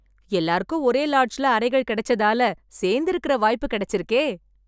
எல்லாருக்கும் ஒரே லாட்ஜ்ல அறைகள் கெடைச்சதால, சேர்ந்து இருக்கற வாய்ப்பு கெடைச்சிருக்கே..